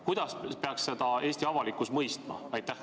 Kuidas peaks Eesti avalikkus seda mõistma?